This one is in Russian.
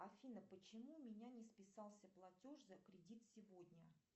афина почему у меня не списался платеж за кредит сегодня